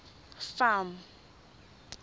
farm